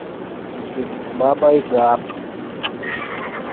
баба яга